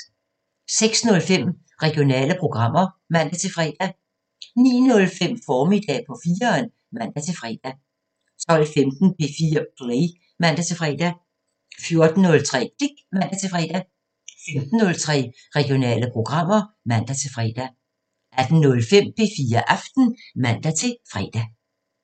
06:05: Regionale programmer (man-fre) 09:05: Formiddag på 4'eren (man-fre) 12:15: P4 Play (man-fre) 14:03: Klik (man-fre) 15:03: Regionale programmer (man-fre) 18:05: P4 Aften (man-fre)